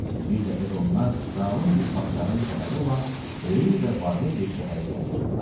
Bir dəfə də onlar zalım bir padşahın şəhəri olan böyük və varlı bir şəhərə gəlib çıxdılar.